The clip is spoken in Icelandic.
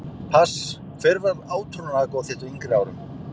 Pass Hver var átrúnaðargoð þitt á yngri árum?